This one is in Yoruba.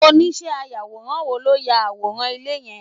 Oniíṣẹ́ ayàwòrán wo ló ya àwòrán ilé yẹn?